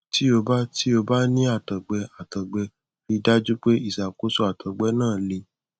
tí ó bá tí ó bá ní àtọgbẹ àtọgbẹ rí i dájú pé ìṣàkóso àtọgbẹ náà le